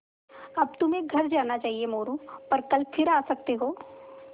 अब तुम्हें घर जाना चाहिये मोरू पर कल फिर आ सकते हो